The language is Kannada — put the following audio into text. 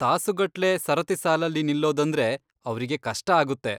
ತಾಸುಗಟ್ಲೆ ಸರತಿ ಸಾಲಲ್ಲಿ ನಿಲ್ಲೋದಂದ್ರೆ ಅವ್ರಿಗೆ ಕಷ್ಟ ಆಗುತ್ತೆ.